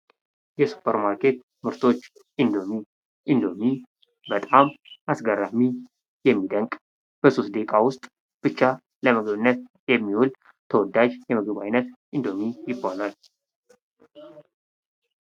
የሱፐር ማርኬት ምርቶች ። ኢንዶሚ ፡ ኢንዶሚ በጣም አስገራሚ የሚደንቅ በሶስት ደቂቃ ውስጥ ብቻ ለምግብነት የሚውል ተወዳጅ የምግብ አይነት ኢንዶሚ ይባላል ።